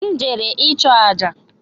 M jere ịchụọ àjà